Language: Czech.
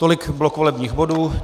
Tolik blok volebních bodů.